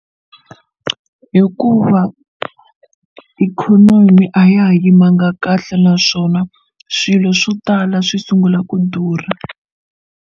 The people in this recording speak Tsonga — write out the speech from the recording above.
Hikuva ikhonomi a ya ha yimanga kahle naswona swilo swo tala swi sungula ku durha.